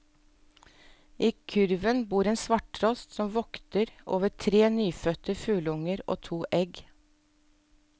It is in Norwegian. I kurven bor en svarttrost, som vokter over tre nyfødte fugleunger og to egg.